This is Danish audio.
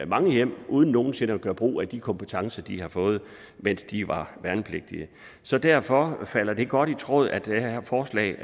mange hjem uden nogen sinde at gøre brug af de kompetencer de har fået mens de var værnepligtige så derfor falder det godt i tråd at det her forslag